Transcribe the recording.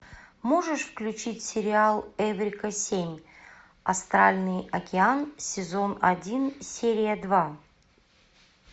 можешь включить сериал эврика семь астральный океан сезон один серия два